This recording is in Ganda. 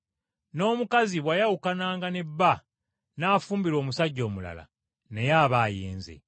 N’omukazi bw’ayawukananga ne bba n’afumbirwa omusajja omulala naye aba ayenze.”